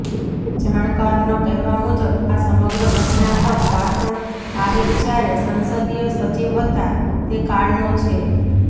જાણકારોના કહેવા મુજબ આ સમગ્ર ઘટનાક્રમ વાસણ આહિર જ્યારે સંસદીય સચિવ હતા તે કાળનો છે